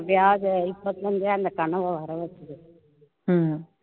அப்படி ஆகுது இப்போத்துல இருந்தே அந்த கனவை வர வச்சுரு